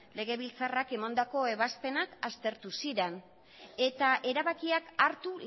legebiltzarrak emandako ebazpenak aztertu ziren eta erabakiak hartu